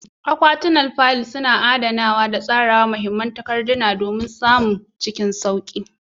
Akwatunan fayil suna tsarawa da adana muhimman takardu don samun dama cikin sauƙi.